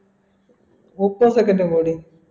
മുപ്പ second ഉം കൂടി